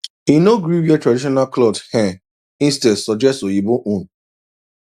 e no gree wear traditional cloth um instead suggest oyibo own